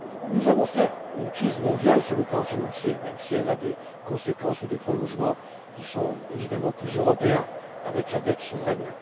Nous avons affaire à une crise mondiale sur le plan financier, même si elle a des conséquences ou des prolongements qui sont évidemment plus européens avec la dette souveraine.